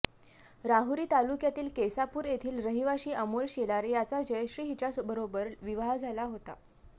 राहुरी तालुक्यातील केसापूर येथील रहिवाशी अमोल शेलार याचा जयश्री हिच्याबरोबर विवाह झाला होता